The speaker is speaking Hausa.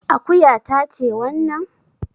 Akuya ta ce wannan?